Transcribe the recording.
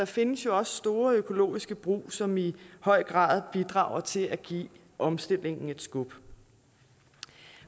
findes jo også store økologiske brug som i høj grad bidrager til at give omstillingen et skub